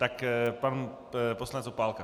Tak pan poslanec Opálka.